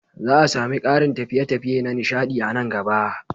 Za a sami ƙarin tafiye-tafiye na nishaɗi a nan gaba.